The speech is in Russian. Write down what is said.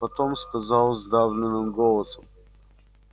потом сказал сдавленным голосом